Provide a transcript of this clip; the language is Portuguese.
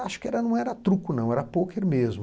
Acho que não era truco, era pôquer mesmo.